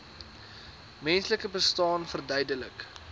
menslike bestaan verduidelik